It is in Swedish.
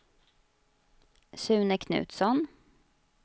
Sune Knutsson